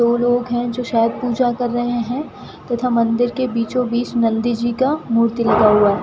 दो लोग हैं जो शायद पूजा कर रहे हैं तथा मंदिर के बीचों बीच नंदी जी का मूर्ति लगा हुआ है।